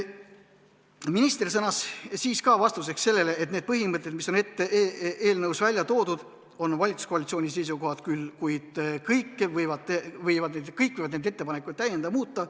Minister sõnas vastuseks sellele, et need põhimõtted, mis on eelnõus välja toodud, on valitsuskoalitsiooni seisukohad küll, kuid kõik võivad neid ettepanekuid täiendada ja muuta.